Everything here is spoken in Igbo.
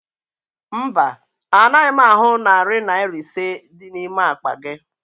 Mba, anaghị m ahụ narị Naira ise dị n'ime akpa gị